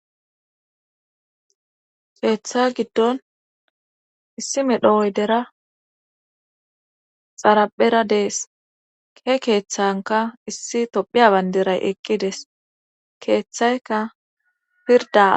Keeththa gidon issi medho oydera xarphra dees. he keethankka issi tophiya bandiray eqqidees. keeththaykka pirdda